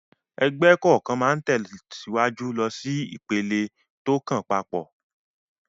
Ẹgbẹ́ kọ̀ọ̀kan máa ń tẹ̀síwájú lọ sí ìpele tó kàn pap